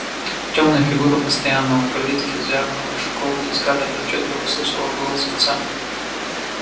тёмные фигуры постоянно у калитки звякнула щеколда и скарлетт отчётливо услышала голос отца